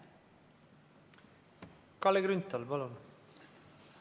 Kalle Grünthal, palun!